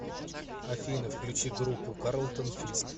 афина включи группу карлтон фиск